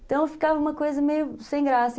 Então ficava uma coisa meio sem graça.